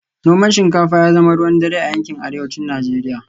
Noman shinkafa ya zama ruwan dare a yankin Arewacin Najeriya